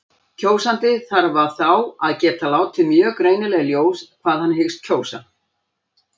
Kjósandi þarf þá að geta látið mjög greinilega í ljós hvað hann hyggst kjósa.